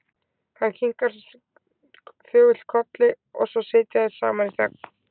Hinn kinkar þögull kolli og svo sitja þeir saman í þögn.